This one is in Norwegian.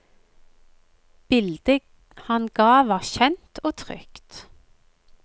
Bildet han ga var kjent og trygt.